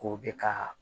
K'o bɛ ka